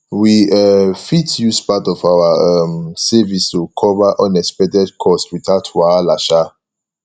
we um fit use part of our um savings to cover unexpected costs without wahala um